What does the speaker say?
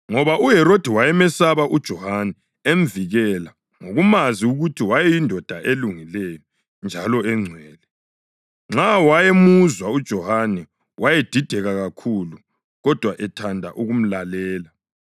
ngoba uHerodi wayemesaba uJohane emvikela, ngokumazi ukuthi wayeyindoda elungileyo njalo engcwele. Nxa wayemuzwa uJohane, wayedideka kakhulu, kodwa ethanda ukumlalela.